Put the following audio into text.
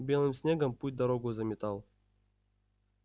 белым снегом путь-дорогу заметал